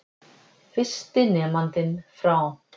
Fyrsti nemandinn frá